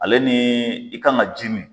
Ale ni i kan ka ji min